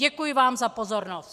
Děkuji vám za pozornost.